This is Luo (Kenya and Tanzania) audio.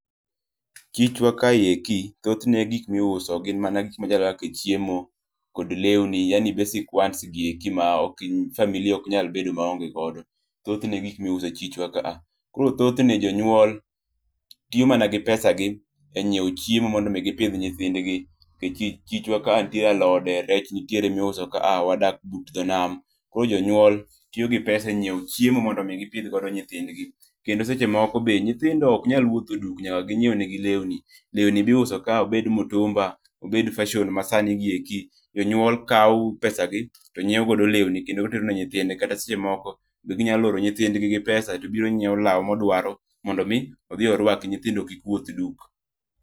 Chichwa ka eki thothne gik miuso gin gik moko ma chalo kaka chiemo kod lewni yani basic wants gi e ki ma family ok nyal bedo ma onge godo thothne gik miuso e chichwa ka koro thothne jonyuol tiyo mana gi pesa gi e nyiewo chiemo mondo mi gi pidh nyithindgi nikech chichwa ka nitie alote rech nitiere miuso ka a wadak but janam koro jonyuol tiyo gi pesa e nyiewo chiemo mondo omi gi pidh godo nyithindgi kendo seche moko nyithindo ok nyal wuoth duk nyaka gi ngiew ne gi lewuni, lewuni mi uso ka nyaka bed mitumba obed fashon ma sani gi e ki jo nyuol kao pesa gi to nyiew godo lewni kendo oterone nyithinde kata seche moko gi nyalo oro nyithindgi gi pesa to biro nyiewo law ma ohero mondo mi orwaki nyithindo kik wuoth duk.